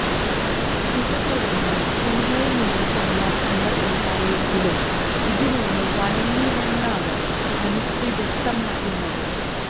ഇതിന് പുറമെയും സിനിമയില് നിന്നും സമ്മര്ദങ്ങള് ഉണ്ടായെങ്കിലും ഇതിനൊന്നും വഴങ്ങിയില്ലെന്നാണ് തനുശ്രീ വ്യക്തമാക്കുന്നത്